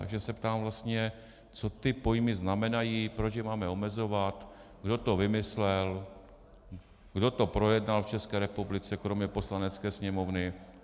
Takže se ptám vlastně, co ty pojmy znamenají, proč je máme omezovat, kdo to vymyslel, kdo to projednal v České republice kromě Poslanecké sněmovny.